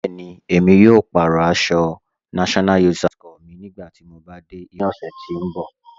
Bẹẹni, emi yóò pàárọ̀ àṣọ̀ NYSC mi nígbàtí mò bá de ibùdó ní ọ̀ṣẹ̀ tì n bọ̀.